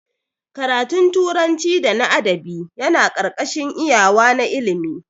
Ƙaratun turanci da na adabi Yana karkashin iyawa na ilimi.